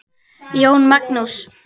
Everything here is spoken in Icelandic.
Jón Magnús.